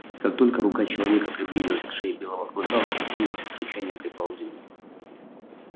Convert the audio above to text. как только рука человека приблизилась к шее белого клыка он ощетинился и с рычанием припал к земле